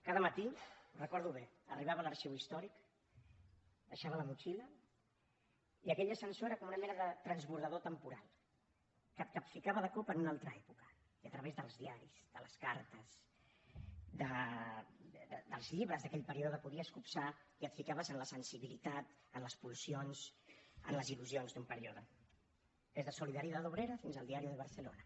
cada matí ho recordo bé arribava a l’arxiu històric deixava la motxilla i aquell ascensor era com una mena de transbordador temporal que et capficava de cop en una altra època i a través dels diaris de les cartes dels llibres d’aquell període podies copsar i et ficaves en la sensibilitat en les pulsions en les il·lusions d’un període des de solidaridad obrera fins al diario de barcelona